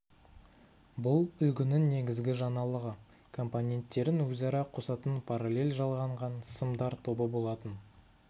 бұл үлгінің негізгі жаңалығы компоненттерін өзара қосатын параллель жалғанған сымдар тобы болатын